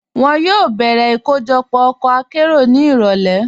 Wọn yóò bẹ̀rẹ̀ ikojọpọ ọkọ̀ àkéró ni irọ̀lẹ̀.